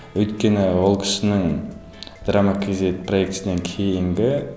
өйткені ол кісінің драма кейзет проектісінен кейінгі